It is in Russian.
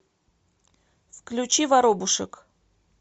включи воробушек